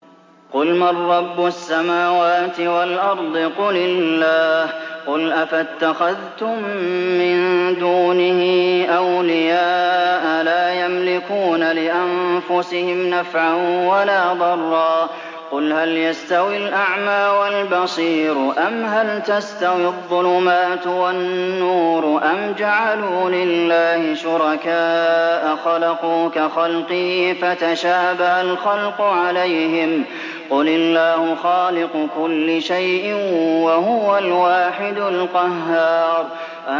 قُلْ مَن رَّبُّ السَّمَاوَاتِ وَالْأَرْضِ قُلِ اللَّهُ ۚ قُلْ أَفَاتَّخَذْتُم مِّن دُونِهِ أَوْلِيَاءَ لَا يَمْلِكُونَ لِأَنفُسِهِمْ نَفْعًا وَلَا ضَرًّا ۚ قُلْ هَلْ يَسْتَوِي الْأَعْمَىٰ وَالْبَصِيرُ أَمْ هَلْ تَسْتَوِي الظُّلُمَاتُ وَالنُّورُ ۗ أَمْ جَعَلُوا لِلَّهِ شُرَكَاءَ خَلَقُوا كَخَلْقِهِ فَتَشَابَهَ الْخَلْقُ عَلَيْهِمْ ۚ قُلِ اللَّهُ خَالِقُ كُلِّ شَيْءٍ وَهُوَ الْوَاحِدُ الْقَهَّارُ